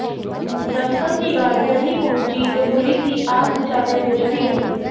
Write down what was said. दमकल की गाड़ियां नहीं पहुंची तो पुलिस ही आग बुझाने में जुटी रही